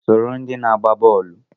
Soro ndị na-agba bọọlụ!